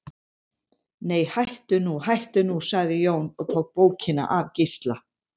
Nei, hættu nú, hættu nú, sagði Jón og tók bókina af Gísla.